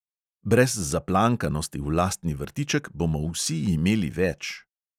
Brez zaplankanosti v lastni vrtiček bomo vsi imeli več.